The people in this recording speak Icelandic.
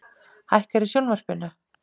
Hækkar í sjónvarpinu.